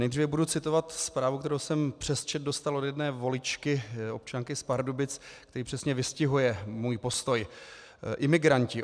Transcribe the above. Nejdříve budu citovat zprávu, kterou jsem přes chat dostal od jedné voličky, občanky z Pardubic, který přesně vystihuje můj postoj: "Imigranti.